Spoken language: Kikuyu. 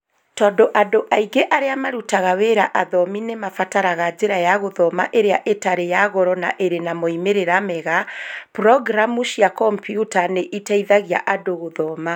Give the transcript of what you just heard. Tondũ andũ aingĩ arĩa marutaga wĩra athomi nĩ mabataraga njĩra ya gũthoma ĩrĩa ĩtarĩ ya goro na ĩrĩ na moimĩrĩro mega, programu cia kompiuta nĩ iteithagia andũ gũthoma.